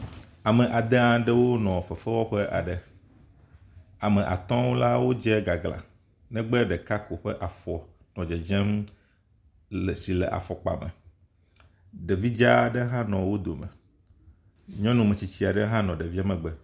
Ame ade aɖewo nɔ fefewɔƒe aɖe. Ame atɔwo la wodze gagla negbe ɖeka ko ƒe afɔ nɔ dedzem le si le afɔkpa me. Ɖevi dza aɖe hã nɔ wo dome. Nyɔnu metsitsi aɖe hã nɔ ɖevia megbe.